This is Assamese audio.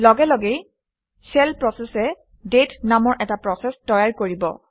লগে লগেই শেল process এ দাঁতে নামৰ এটা প্ৰচেচ তৈয়াৰ কৰিব